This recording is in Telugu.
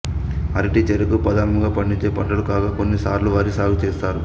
అరటి చెరకు ప్రధానముగా పండించే పంటలు కాగా కొన్ని సార్లు వరి సాగు చేస్తారు